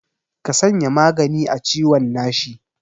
Ka sanya magani a ciwon nashi.